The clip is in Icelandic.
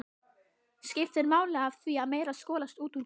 skiptir máli af því að meira skolast út úr glerinu.